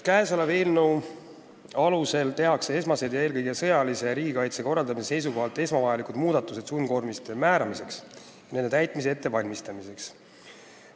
Eelnõu alusel tehakse esmased ja eelkõige sõjalise riigikaitse korraldamise seisukohalt esmavajalikud muudatused sundkoormiste määramiseks ja nende täitmise ettevalmistamiseks.